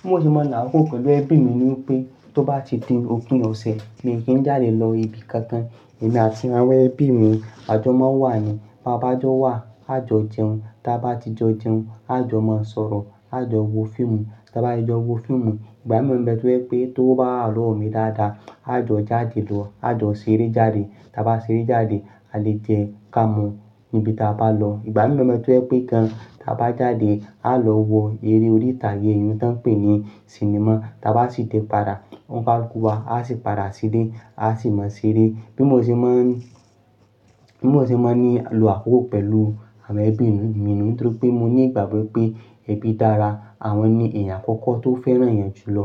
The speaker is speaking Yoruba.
Bí mo ṣe máa ń lo àkókò pẹ̀lú ẹbí mi ni pé tó bá ti di òpin ọ̀sẹ̀ mi kì í jáde lọ ibi kankan. Èmi àti àwọn ẹbí mi, àjọ máa wà ni. Bá bá jọ wà, a jọ jẹun. Ta bá ti jo jẹun, a jọ máa sọ̀rọ̀, a jọ wo fíìmù. Ta bá ti jọ wo fíìmù, ìgbà mí nbe to je pé tówo bá wa lọ̀wo mí dáadáa, a jọ jáde lọ, a jọ ṣeré jáde. Tí a bá ṣeré jáde, a le jẹ, káàmu níbi tí a bá lọ. Ìgbà mí mọ̀ pé kíkan tí a bá jáde, a lọ wo eré orí ìtàgé eyí tí wọ́n ń pè ní sinimá. Tí a bá sì tẹ padà, wọ́n bá ku wa, a sì padà sílé, a sì máa ṣeré. Bí mo ṣe máa ń, bí mo ṣe máa ń lo àkókò pẹ̀lú àwọn ẹbí mi ni nítorí pé mo ní ìgbàgbọ́ pé ẹbí dára, àwọn ni èèyàn àkọ́kọ́ tó fẹ́ràn eeyan jùlọ.